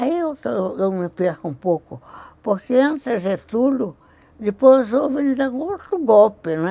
E aí eu me perco um pouco, porque entra Getúlio, depois ele dá outro golpe, né?